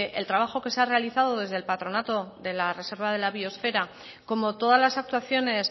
el trabajo que se ha realizado desde el patronato de la reserva de la biosfera como todas las actuaciones